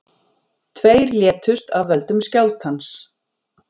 Tveir létust af völdum skjálftans